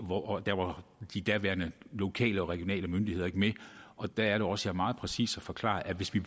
og da var de daværende lokale og regionale myndigheder ikke med og der er det også jeg meget præcist har forklaret at hvis vi